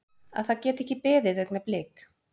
Að það geti ekki beðið augnablik.